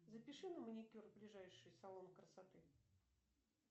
запиши на маникюр в ближайший салон красоты